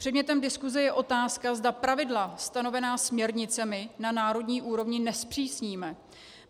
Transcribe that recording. Předmětem diskuse je otázka, zda pravidla stanovená směrnicemi na národní úrovni nezpřísníme.